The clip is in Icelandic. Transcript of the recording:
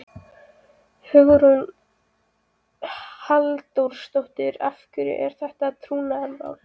Hugrún Halldórsdóttir: Af hverju er þetta trúnaðarmál?